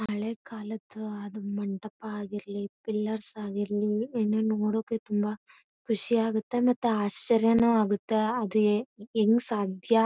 ಹಳೆ ಕಾಲದ್ದು ಮಂಟಪ ಆಗಿರ್ಲಿ ಫಿಲ್ಲರ್ಸ್ ಆಗಿರ್ಲಿ ಏನೇನು ನೋಡೋಕು ತುಂಬಾ ಖುಷಿಯಾಗುತ್ತೆ ಮತ್ತೆ ಆಶ್ಚರ್ಯನೂ ಆಗುತ್ತೆ ಆಡು ಹೆಂಗ್ ಸಾಧ್ಯ.